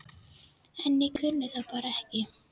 En ég kunni það bara ekki.